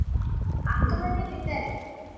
ಅಕ್ಕ ಮನೆಯಲ್ಲಿ ಇದ್ದಾರೆ.